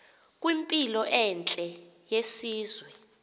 kwimpilo entle yesizwe